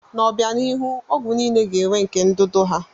N'obianihu, ọgwụ niile ga-enwe nke ndụdụ ha.